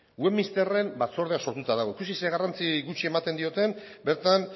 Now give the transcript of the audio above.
westminsteren batzordea sortuta dago ikusi zein garrantzi gutxi ematen dioten bertan